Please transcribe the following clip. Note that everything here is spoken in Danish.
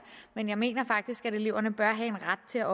men jeg mener faktisk at eleverne bør have en ret til at